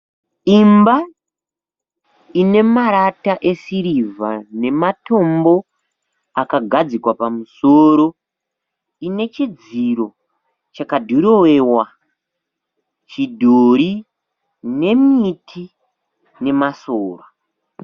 Imba ine marata esirivha nematombo akagadzikwa pamusoro ine chidziro chakadhirowewa chidhori nemiti nemasora.